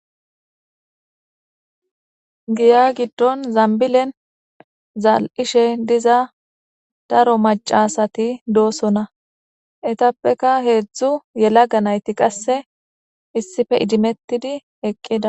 Giya giddon zambilen zaal7ishe diza daro macasati doosona etappeka heedzdzu yelaga nayti qasse issife idimettidi eqqida.